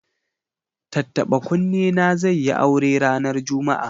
Tattaɓa-kunne na zai yi aure ranar Juma'a.